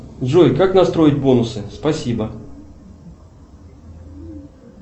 джой как настроить бонусы спасибо